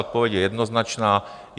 Odpověď je jednoznačná.